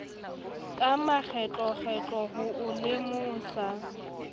ka makgetlokgetlo ho o lemosa